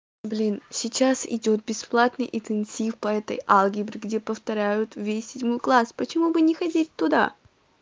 блин сейчас идёт бесплатный интенсив по этой алгебре где повторяют весь седьмой класс почему бы не ходить туда